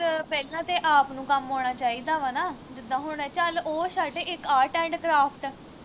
ਪਹਿਲਾਂ ਤੇ ਆਪ ਨੂੰ ਕੰਮ ਆਉਣਾ ਚਾਹੀਦਾ ਵਾ ਨਾ ਜਿੱਦਾਂ ਹੁਣ ਚੱਲ ਓਹ ਛੱਡ ਇਕ art and craft